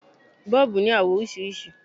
Bọ́ọ̀bù ní àwọ̀ oríṣiríṣi.